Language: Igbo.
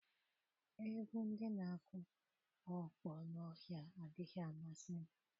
Egwu ndị na-akụ ọkpọ n'ọhịa adịghị amasị m.